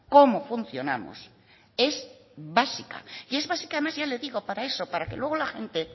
cómo funcionamos es básica y es básica además ya le digo para eso para que luego la gente